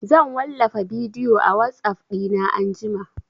Zan wallafa bidiyo a WhatsApp ɗina anjima